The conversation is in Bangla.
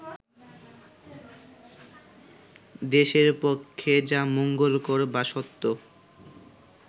দেশের পক্ষে যা মঙ্গলকর বা সত্য